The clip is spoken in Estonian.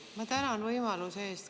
Ma tänan võimaluse eest!